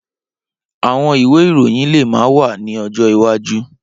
Awọn iwe iroyin le ma wa ni ọjọ iwaju.